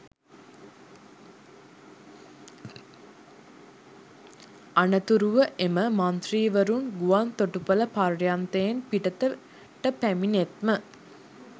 අනතුරුව එම මන්ත්‍රීවරුන් ගුවන් තොටුපළ පර්යන්තයෙන් පිටතට පැමිණෙත්ම